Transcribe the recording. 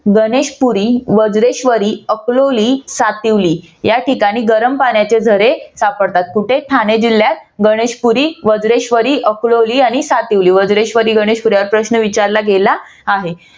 गणेशपुरी, वज्रेश्वरी, अकलोली, सातिवली ह्या ठिकाणी गरम पाण्याचे झरे सापडतात. कुठे? ठाणे जिल्ह्यात गणेशपुरी वज्रेश्वरी अकलोली आणि सातिवली वज्रेश्वरी गणेशपुरी वरती प्रश्न विचारला गेला आहे.